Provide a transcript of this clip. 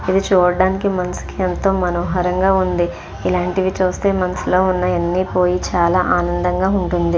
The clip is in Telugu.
ఇది చూడ్డానికి మనసుకి ఎంతో మనోహరంగా ఉంది. ఇలాంటివి చూస్తే మనసులో ఉన్న ఎన్ని పోయి చాలా ఆనందంగా ఉంటుంది.